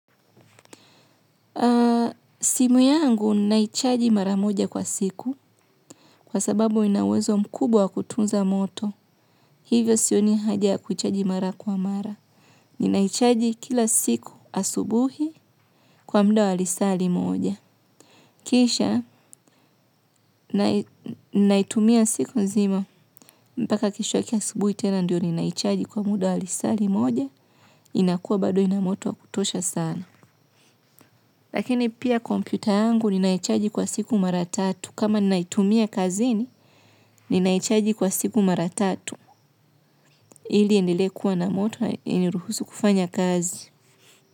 Simu yangu ninaichaji mara moja kwa siku kwa sababu ina uwezo mkubwa wa kutunza moto. Hivyo sioni haja ya kuchaji mara kwa mara. Ninaichaji kila siku asubuhi kwa muda wa lisaa limoja. Kisha naitumia siku nzima. Mpaka kesho yake asubuhi tena ndio ninaichaji kwa muda wa lisaa limoja. Inakuwa bado ina moto wa kutosha sana. Lakini pia kompyuta yangu ninaichaji kwa siku mara tatu kama ninaitumia kazini ninaichaji kwa siku mara tatu ili iendelee kuwa na moto iniruhusu kufanya kazi.